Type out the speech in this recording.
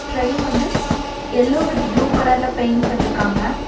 Train வந்து yellow with blue கலர்ல paint பண்ணிருக்காங்க.